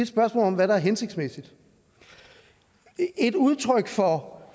spørgsmål om hvad der er hensigtsmæssigt et udtryk for